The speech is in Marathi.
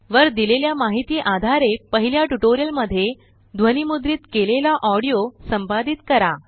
वर दिलेल्या माहिती आधारेपहिल्या ट्युटोरिअल मध्ये ध्वनिमुद्रित केलेला ऑडीओ संपादित करा